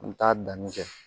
U bɛ taa danni kɛ